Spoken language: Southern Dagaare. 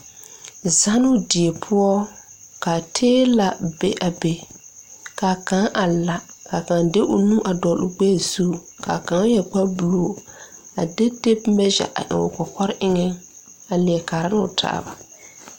Zannoo diebpoɔ ka teelɛ be a be kaa kaŋ a la ka kaŋ de o nu a dɔɔloo gbɛɛ zu kaa kaŋ yɛre kparebluu a de tape measure a dɔɔloo kɔkɔre eŋɛ a leɛ kaaroo taaba.